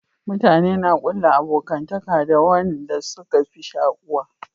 Mutane na kulla abokantaka da wanda suka fi shakuwa